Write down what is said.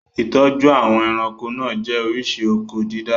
Ìtọ́jú àwọn ẹranko náà jẹ́ oríṣi oko-dídá.